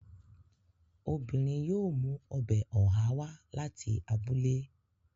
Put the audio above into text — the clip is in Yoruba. Obìnrin yóò mú ọbẹ̀ ọ̀há wá láti abúlé